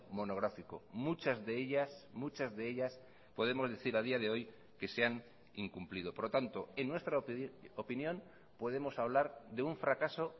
monográfico muchas de ellas muchas de ellas podemos decir a día de hoy que se han incumplido por lo tanto en nuestra opinión podemos hablar de un fracaso